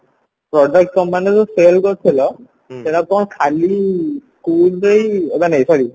ମାନେ product companyରୁ cell କରୁଥିଲ ସେଟା କଣ ଖାଲି ମାନେ sorry